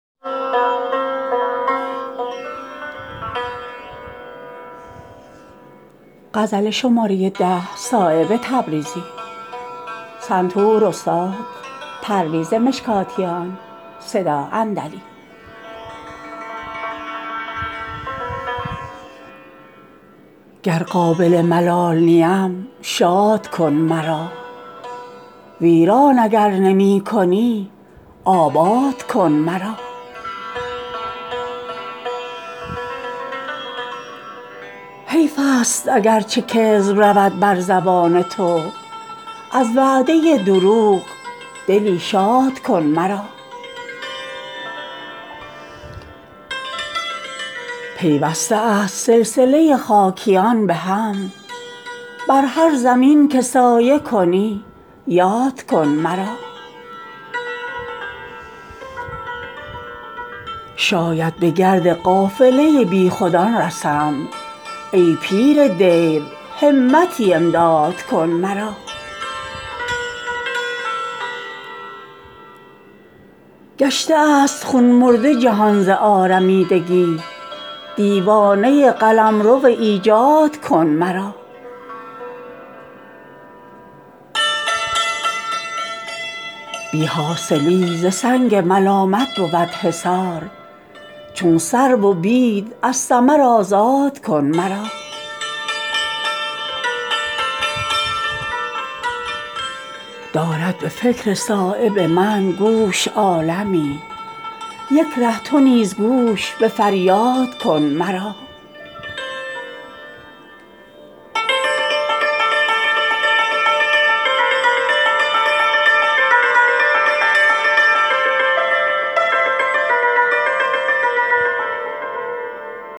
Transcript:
گر قابل ملال نیم شاد کن مرا ویران اگر نمی کنی آباد کن مرا ز افتادگی مباد شوم بار خاطرت تا هست پای رفتنی آزاد کن مرا خواری کشیدگان به عزیزی رسند زود زان پیشتر که یاد کنی یاد کن مرا گر داد من نمی دهی ای پادشاه حسن یکباره پایمال ز بیداد کن مرا حیف است اگر چه کذب رود بر زبان تو از وعده دروغ دلی شاد کن مرا پیوسته است سلسله خاکیان به هم بر هر زمین که سایه کنی یاد کن مرا شاید به گرد قافله بیخودان رسم ای پیر دیر همتی امداد کن مرا پر کن ز باده تا خط بغداد جام من فرمانروای خطه بغداد کن مرا درمانده ام به دست دل همچو سنگ خود سرپنجه تصرف فرهاد کن مرا گشته است خون مرده جهان ز آرمیدگی دیوانه قلمرو ایجاد کن مرا بی حاصلی ز سنگ ملامت بود حصار چون سرو و بید ز ثمر آزاد کن مرا دارد به فکر صایب من گوش عالمی یک ره تو نیز گوش به فریاد کن مرا